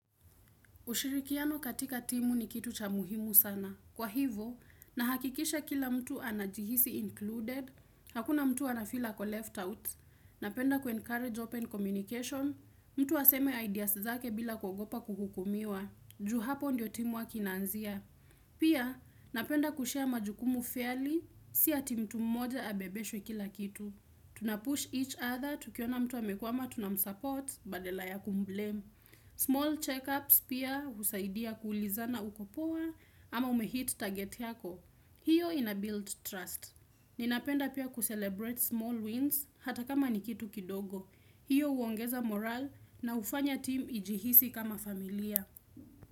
Ushirikiano katika timu ni kitu cha muhimu sana. Kwa hivo, nahakikisha kila mtu anajihisi included, hakuna mtu anafeel ako left out, napenda kuencourage open communication, mtu aseme ideas zake bila kugopa kuhukumiwa, juu hapo ndio team inaanzia. Pia napenda kushare majukumu fairy si ati mtu mmoja abebeshwe kila kitu Tunapush each other tukiona mtu amekwama tunamsupport baadala ya kumblame Small checkups pia husaidia kuulizana uko poa ama umehit target yako hiyo ina build trust Ninapenda pia kucelebrate small wins hata kama ni kitu kidogo hiyo huongeza moral na hufanya timu ijihisi kama familia.